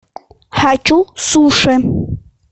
хочу суши